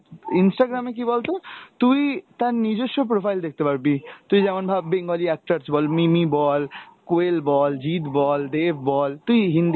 instagram এ কী বলতো? তুই তার নিজস্ব profile দেখতে পারবি, তুই যেমন ভাব Bengali actors বল, মিমি বল, কোয়েল বল, জিত বল, দেব বল, তুই Hindi